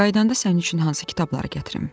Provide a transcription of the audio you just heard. Qayıdanda sənin üçün hansı kitabları gətirim?